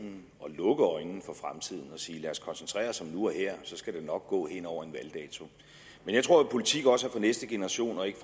lukke øjnene for fremtiden og sige lad os koncentrere os om nu og her så skal det nok gå hen over en valgdato men jeg tror at politik også er for næste generation og ikke